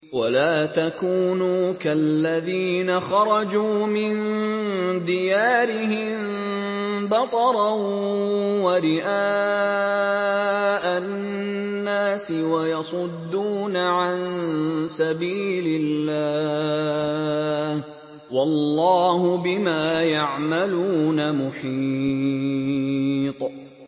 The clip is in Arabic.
وَلَا تَكُونُوا كَالَّذِينَ خَرَجُوا مِن دِيَارِهِم بَطَرًا وَرِئَاءَ النَّاسِ وَيَصُدُّونَ عَن سَبِيلِ اللَّهِ ۚ وَاللَّهُ بِمَا يَعْمَلُونَ مُحِيطٌ